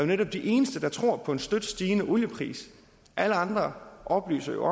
netop de eneste der tror på en støt stigende oliepris alle andre oplyser jo